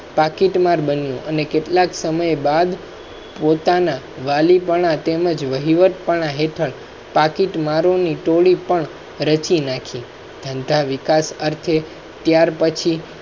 packet માર બનિયો અને કેટલા સમય બાદ બાદ પોતાના વાલી પણ તેમજ વહીવટ પણ હેતાળ પેકેટ મારો ની ટોળી પણ રચી નાખી ધંધા વિકાસ અર્થે ત્યારપછી